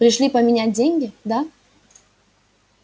пришли поменять деньги да